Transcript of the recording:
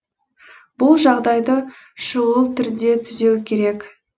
бұл жағдайды шұғыл түрде түзеу керек